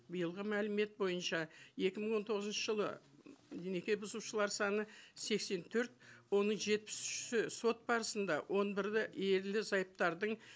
биылғы мәлімет бойынша екі мың он тоғызыншы жылы м неке бұзушылар саны сексен төрт оның жетпіс үші сот барысында он бірі ерлі зайыптардың